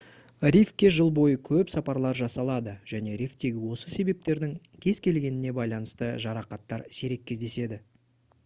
рифке жыл бойы көп сапарлар жасалады және рифтегі осы себептердің кез келгеніне байланысты жарақаттар сирек кездеседі